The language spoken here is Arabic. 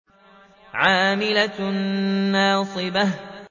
عَامِلَةٌ نَّاصِبَةٌ